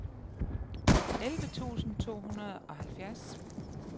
elleve tusind to hundrede og halvfjerds